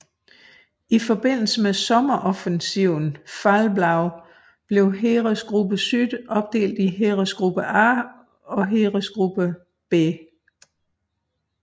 I forbindelse med sommeroffensiven Fall Blau blev Heeresgruppe Süd opdelt i Heeresgruppe A og Heeresgruppe B